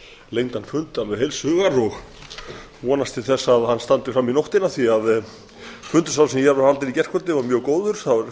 lengdan fund alveg heilshugar og vonast til þess að hann standi fram í nóttina því fundur sá sem hér var haldinn í gærkvöldi var mjög góður það fóru